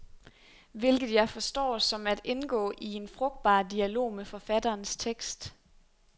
Hvilket jeg forstår som at indgå i en frugtbar dialog med forfatterens tekst.